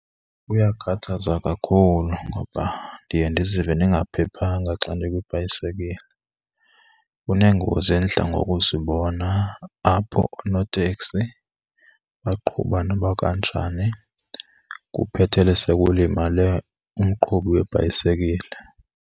Kuyakhathaza kakhulu ngoba ndiye ndizive ndingaphephanga xa ndikwibhayisekile. Kuneengozi endidla ngokuzibona apho oonoteksi baqhuba noba kukanjani kuphethele sekulimale umqhubi webhayisekile.